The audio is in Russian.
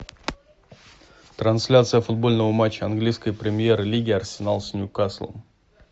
трансляция футбольного матча английской премьер лиги арсенал с ньюкаслом